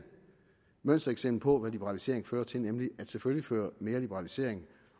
mønstereksempel på hvad liberalisering fører til nemlig at selvfølgelig fører mere liberalisering